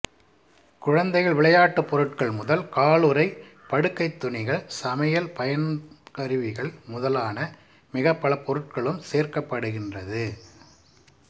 குழந்தைகள் விளையாட்டுப் பொருட்கள் முதல் காலுறை படுக்கைத்துனிகள் சமையல் பயன்கருவிகள் முதலான மிகப்பல பொருட்களிலும் சேர்க்கப்படுகின்றது